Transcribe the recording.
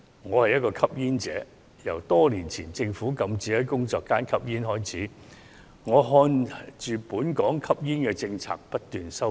我是一名吸煙者，由多年前政府禁止在工作間吸煙開始，一直眼看本港的吸煙政策不斷收緊。